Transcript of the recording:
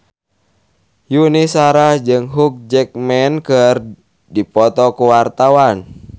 Yuni Shara jeung Hugh Jackman keur dipoto ku wartawan